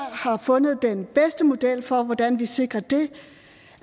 har fundet den bedste model for hvordan vi sikrer det